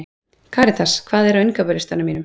Karitas, hvað er á innkaupalistanum mínum?